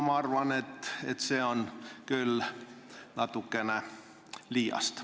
Ma arvan, et see on küll natukene liiast.